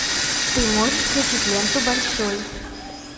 ты можешь включить ленту большой